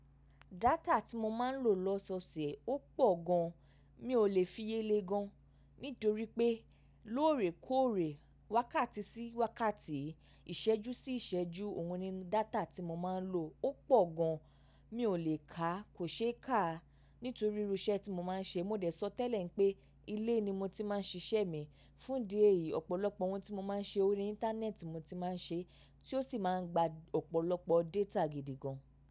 Data tí mo máa ń lò lọ́sọ̀ọ̀sẹ̀ ó pọ̀ gan, mi ò lè fiye lẹ́ gan. Nítorí pé lóòrèkóòrè, wákàtí sí wákàtí, ìṣẹ́jú sí ìṣẹ́jú ohun nínú data tí mo máa ń lò ó pọ̀ gan, mi ò lè ká, kò ṣe é ká. Nítorí irú iṣẹ́ tí mo máa ń ṣe. Mo dẹ̀ sọ tẹ́lẹ̀ pé ilé ni mo ti máa ń ṣíṣe mi. Fún di èyí, ọ̀pọ̀lọpọ̀ ohun tí mo máa ń ṣe ori Íńtánẹ́ẹ̀tì mo ti máa ń ṣe, tí ó sì máa ń gba ọ̀pọ̀lọpọ̀ data gidi gan.